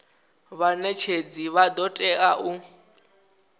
vhanetshedzi vha do tea u